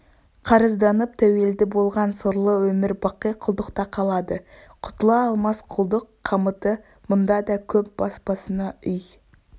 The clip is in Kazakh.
қарызданып тәуелді болған сорлы өмір-бақи құлдықта қалады құтыла алмас құлдық қамыты мұнда да көп бас-басына үй